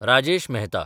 Rajesh Mehta